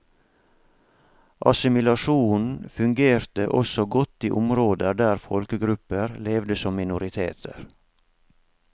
Assimilasjonen fungerte også godt i områder der folkegrupper levde som minoriteter.